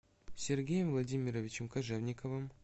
сергеем владимировичем кожевниковым